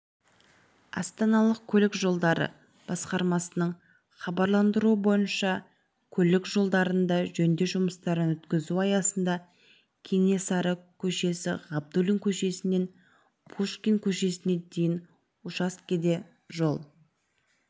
астаналық көлік жолдары басқармасының хабарландыруы бойынша көлік жолдарында жөндеу жұмыстарын өткізу аясында кенесары көшесі ғабдуллин көшесінен пушкин көшесіне дейін учаскеде жол